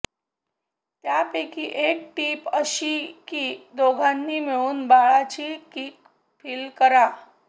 त्यापैकी एक टीप अशी की दोघांनी मिळून बाळाची किक फील करा